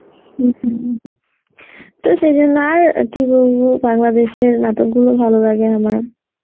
হম হম তো সে জন্যে আর কি বলবো বাংলাদেশের নাটকগুলো ভালো লাগে আমার